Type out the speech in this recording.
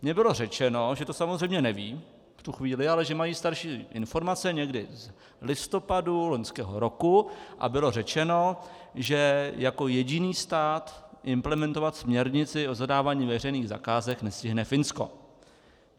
Mně bylo řečeno, že to samozřejmě nevědí v tu chvíli, ale že mají starší informace, někdy z listopadu loňského roku, a bylo řečeno, že jako jediný stát implementovat směrnici o zadávání veřejných zakázek nestihne Finsko.